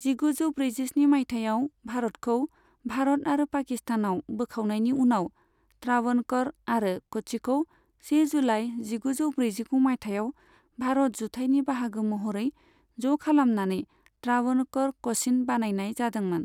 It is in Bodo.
जिगुजौ ब्रैजिस्नि मायथाइयाव भारतखौ भारत आरो पाकिस्तानआव बोखावनायनि उनाव, त्रावणक'र आरो क'च्चिखौ से जुलाइ जिगुजौ ब्रैजिगु मायथाइयाव भारत जुथाइनि बाहागो महरै ज' खालामनानै त्रावणक'र क'चिन बानायनाय जादोंमोन।